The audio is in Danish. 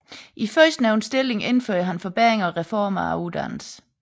I førstnævnte stilling indførte han forbedringer og reformer af uddannelsen